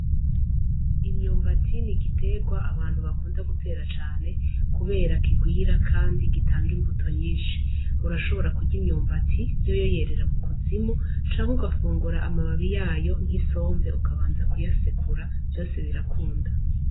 Imyumbati ni igiterwa abantu bakunda gutera cane, kubera kigwira kandi gitanga imbuto nyinshi. Urashobora kurya imyumbati, yoyo yerera mu kuzimu, canke ugafungura amababi yayo nk'isombe ukabanza kuyasekura, vyose birakunda.